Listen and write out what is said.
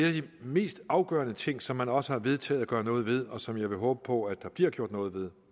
af de mest afgørende ting som man også har vedtaget at gøre noget ved og som jeg vil håbe på at der bliver gjort noget ved